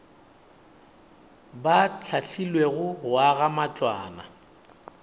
ba hlahlilwego go aga matlwana